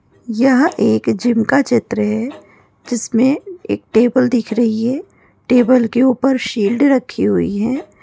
यहा एक जिम का चित्र है जिसमे एक टेबल दिख रही है टेबल के ऊपर शील्ड रखी हुई है।